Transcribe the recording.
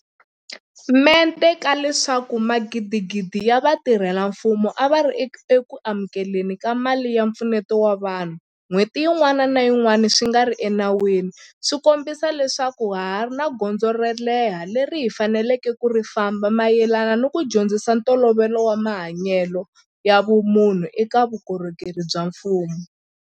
Mente ka leswaku magidigidi ya vatirhela mfumo a va ri eku amukele ni ka mali ya mpfuneto wa vanhu n'hweti yin'wana ni yin'wana swi nga ri enawini swi kombisa leswaku ha ha ri ni gondzo ro leha leri hi faneleke ku ri famba mayelana ni ku dyondzisa ntolovelo wa mahanyelo ya vumunhu eka vukorhokeri bya mfumo.